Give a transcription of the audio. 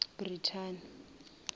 brithani